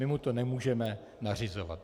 My mu to nemůžeme nařizovat.